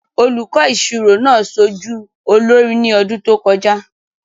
Olùkọ́ ìṣirò náà ṣojú olórí ní ọdún tó kọjá.